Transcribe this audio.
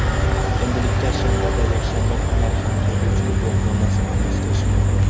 Endilikda shanba va yakshanba kunlari ham haydovchilik guvohnomasini almashtirish mumkin.